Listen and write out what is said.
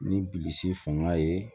Ni bilisi fanga ye